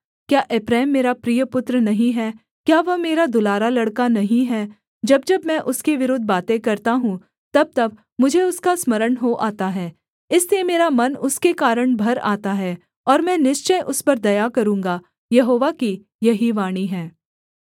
क्या एप्रैम मेरा प्रिय पुत्र नहीं है क्या वह मेरा दुलारा लड़का नहीं है जब जब मैं उसके विरुद्ध बातें करता हूँ तबतब मुझे उसका स्मरण हो आता है इसलिए मेरा मन उसके कारण भर आता है और मैं निश्चय उस पर दया करूँगा यहोवा की यही वाणी है